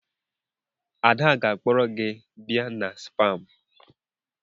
Ada ga-akpọrọ gị bịa na spaa m.